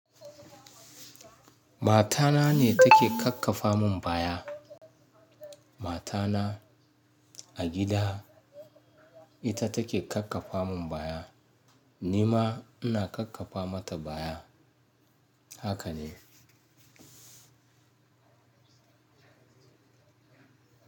Matana ne take kakkafa mun baya. Matana a gida ita take kakkafa mun baya, ni ma ina kakkafa mata baya, haka ne.